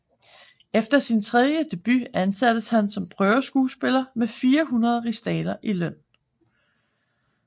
Efter sin tredje debut ansattes han som prøveskuespiller med 400 rigsdaler i løn